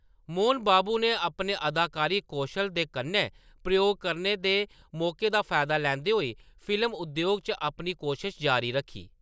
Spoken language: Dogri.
मोहन बाबू ने अपने अदाकारी कौशल दे कन्नै प्रयोग करने दे मौकें दा फायदा लैंदे होई फिल्म उद्योग च अपनी कोशश जारी रक्खी।